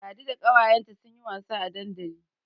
Ladi da ƙawayenta sun yi wasa a dandali.